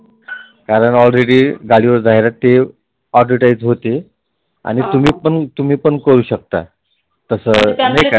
कारण Already गाडीवर जाहिरात ही Advertise होते आणि तुम्ही पण करु शकता. तसं